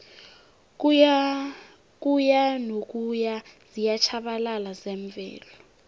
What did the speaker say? ukuyanokuya ziyatjhabalala zemvelo